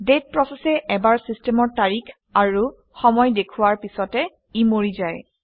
date প্ৰচেচে এবাৰ চিষ্টেমৰ তাৰিখ আৰু সময় দেখুওৱাৰ পিছতে ই মৰি যায়